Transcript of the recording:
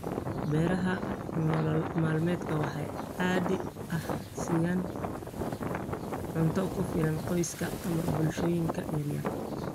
Beeraha nolol maalmeedka waxay caadi ahaan siiyaan cunto ku filan qoysaska ama bulshooyinka yaryar.